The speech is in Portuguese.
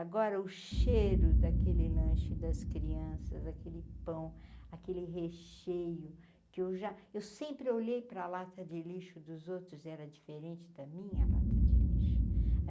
Agora o cheiro daquele lanche das crianças, aquele pão, aquele recheio que eu já... Eu sempre olhei para a lata de lixo dos outros, era diferente da minha lata de lixo.